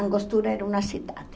Angostura era uma cidade.